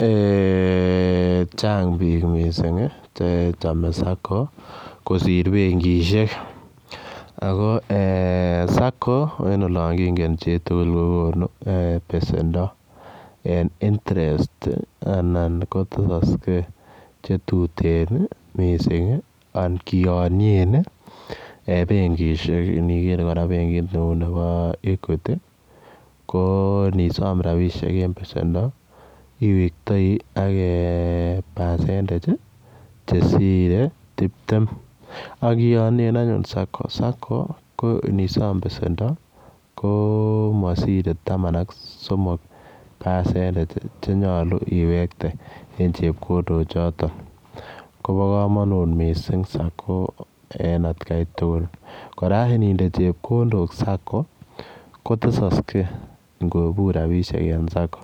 Ee chang biik mising che chamei sacco kosir benkishek. ako ee sacco en olon kingen, chitukul kokonu pesendo en interest anan ko tesoskei chetuteen mising an kionien benkishek. Niker kora benkit nebo Equity, ko nisom rapishek eng pesendo, iwektoi ak percentage che sirei tiptem. Ak ionien anyun sacco, sacco ko nisom pesendo, ko masiri taman ak somok percentage chenyolu iwekte eng chepkondok chotok. Kobo komanut mising sacco en atkai tugul. Kora ninde chepkondok sacco ko tesaskei ngobur rapishek eng sacco